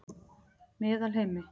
Meðalheimi